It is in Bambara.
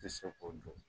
Tɛ se k'o dɔn